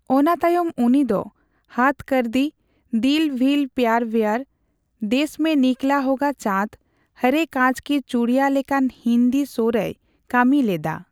ᱚᱱᱟ ᱛᱟᱭᱚᱢ ᱩᱱᱤ ᱫᱚ ᱦᱚᱫᱽ ᱠᱚᱨ ᱫᱤ, ᱫᱤᱞ ᱵᱷᱤᱞ ᱯᱭᱟᱨ ᱵᱷᱮᱭᱟᱨ, ᱫᱮᱥ ᱢᱮ ᱱᱤᱠᱞᱟ ᱦᱳᱜᱟ ᱪᱟᱸᱫᱽ, ᱦᱚᱨᱮ ᱠᱟᱧᱪ ᱠᱤ ᱪᱩᱲᱤᱭᱟᱱ ᱞᱮᱠᱟᱱ ᱦᱤᱱᱫᱤ ᱥᱳ ᱨᱮᱭ ᱠᱟᱹᱢᱤ ᱞᱮᱫᱼᱟ ᱾